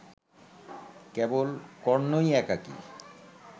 কেবল কর্ণই একাকী